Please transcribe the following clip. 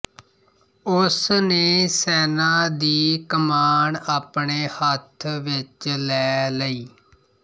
ਉਸ ਨੇ ਸੈਨਾ ਦੀ ਕਮਾਣ ਆਪਣੇ ਹੱਥ ਵਿੱਚ ਲੈ ਲਈ